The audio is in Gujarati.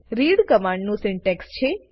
રીડ કમાંડ નું સિન્ટેક્સ છે